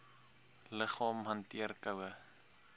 liggaam hanteer koue